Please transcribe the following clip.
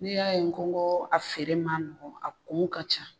N'i y'a ye u ko ko a feere ma nɔgɔ a kun ka ca.